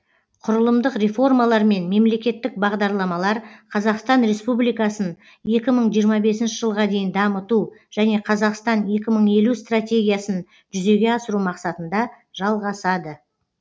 құрылымдық реформалар мен мемлекеттік бағдарламалар қазақстан республикасын екі мың жиырма бесінші жылға дейін дамыту және қазақстан екі мың елу стратегиясын жүзеге асыру мақсатында жалғасады